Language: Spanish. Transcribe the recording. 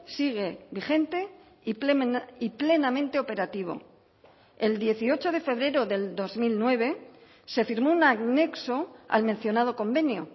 sigue vigente y plenamente operativo el dieciocho de febrero del dos mil nueve se firmó un anexo al mencionado convenio